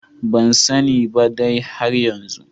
Bansane ba dai har yanzu.